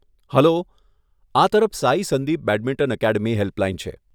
Hello, આ બાજુ Sai Sandeep badminton academy helpline છે.